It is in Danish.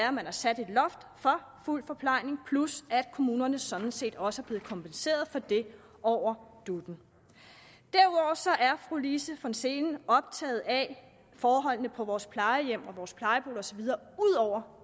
at man har sat et loft for fuld forplejning plus at kommunerne sådan set også er blevet kompenseret for det over dut’en så er fru lise von seelen optaget af forholdene på vores plejehjem og vores plejeboliger og så videre ud over